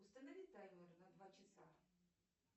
установи таймер на два часа